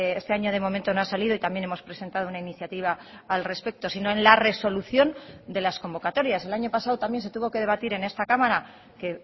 este año de momento no ha salido y también hemos presentado una iniciativa al respecto sino en la resolución de las convocatorias el año pasado también se tuvo que debatir en esta cámara que